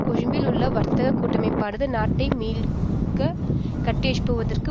கொழும்பில் உள்ள வர்த்தக கூட்டமைப்பானது நாட்டை மீள கட்டியெழுப்புவதற்கு